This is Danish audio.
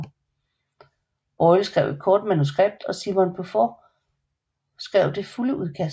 Boyle skrev et kort manuskript og Simon Beaufoy skrev det fulde udkast